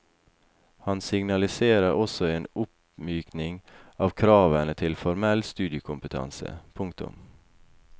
Han signaliserer også en oppmykning av kravene til formell studiekompetanse. punktum